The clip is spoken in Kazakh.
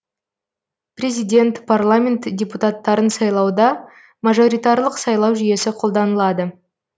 президент парламент депутаттарын сайлауда мажоритарлық сайлау жүйесі қолданылады